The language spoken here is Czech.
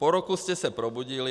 Po roce jste se probudili.